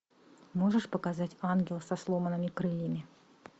можешь показать ангел со сломанными крыльями